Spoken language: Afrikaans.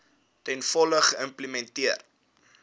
ten volle geïmplementeer